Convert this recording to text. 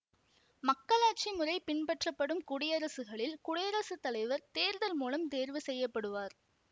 மக்களாட்சி முறை பின்பற்றப்படும் குடியரசுகளில் குடியரசு தலைவர் தேர்தல் மூலம் தேர்வு செய்ய படுவார்